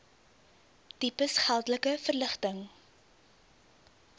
tipes geldelike verligting